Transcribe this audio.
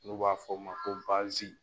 N'u b'a fɔ o ma ko bazi